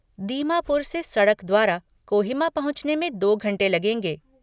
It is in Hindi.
दीमापुर से सड़क द्वारा कोहिमा पहुँचने में दो घंटे लगेंगे।